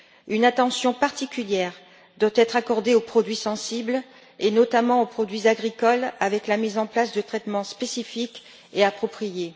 Une attention particulière doit être accordée aux produits sensibles, et notamment aux produits agricoles, avec la mise en place de traitements spécifiques et appropriés.